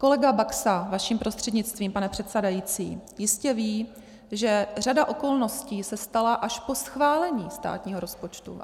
Kolega Baxa vaším prostřednictvím, pane předsedající, jistě ví, že řada okolností se stala až po schválení státního rozpočtu.